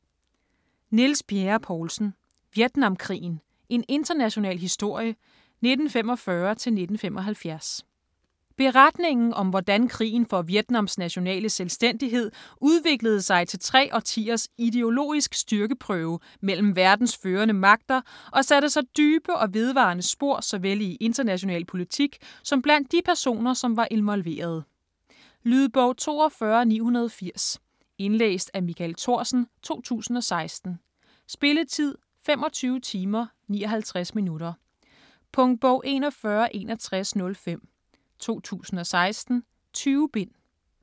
Bjerre-Poulsen, Niels: Vietnamkrigen: en international historie - 1945-1975 Beretningen om hvordan krigen for Vietnams nationale selvstændighed udviklede sig til tre årtiers ideologisk styrkeprøve mellem verdens førende magter og satte sig dybe og vedvarende spor såvel i international politik som blandt de personer som var involverede. Lydbog 42980 Indlæst af Michael Thorsen, 2016. Spilletid: 25 timer, 59 minutter. Punktbog 416105 2016. 20 bind.